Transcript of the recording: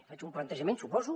faig un plantejament suposo